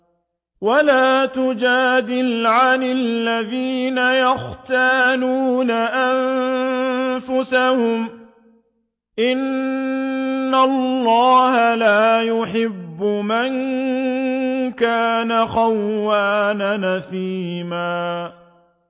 وَلَا تُجَادِلْ عَنِ الَّذِينَ يَخْتَانُونَ أَنفُسَهُمْ ۚ إِنَّ اللَّهَ لَا يُحِبُّ مَن كَانَ خَوَّانًا أَثِيمًا